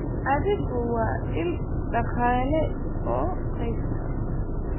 Adhigu waa il dhaqaale oo qoyska.